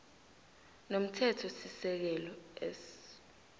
nomthethosisekelo s